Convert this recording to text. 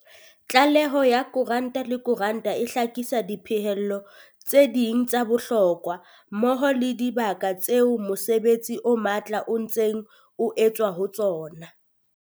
Tlaleho ya kotara le kotara e hlakisa diphihlello tse ding tsa bohlokwa, mmoho le dibaka tseo mosebetsi o matla o ntseng o etswa ho tsona.